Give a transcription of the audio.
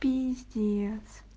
пиздец